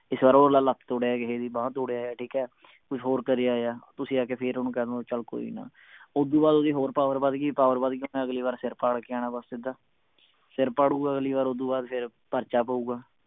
ਇਸ ਵਾਰ ਉਹ ਅਗਲਾ ਲੱਤ ਤੋੜ ਆਇਆ ਕਿਸੇ ਦੀ ਬਾਂਹ ਤੋੜ ਆਇਆ ਕੁਛ ਹੋਰ ਕਰ ਆਇਆ ਤੁਸੀਂ ਆਕੇ ਫੇਰ ਓਹਨੂੰ ਕਹਿ ਦੋ ਚੱਲ ਕੋਈ ਨਾ ਓਦੁ ਬਾਅਦ ਓਹਦੀ ਹੋਰ power ਵੱਧ ਗਈ power ਵੱਧ ਗਈ ਅਗਲੀ ਵਾਰ ਓਹਨੇ ਸਿਰ ਪਾੜ ਕੇ ਆਣਾ ਬਸ ਸਿੱਧਾ ਸਰ ਪਾੜੁਗਾ ਓਦੋਂ ਅਗਲੀ ਵਾਰ ਫੇਰ ਪਰਚਾ ਪਊਗਾ